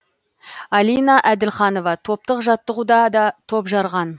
алина әділханова топтық жаттығуда да топ жарған